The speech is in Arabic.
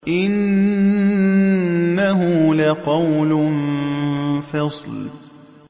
إِنَّهُ لَقَوْلٌ فَصْلٌ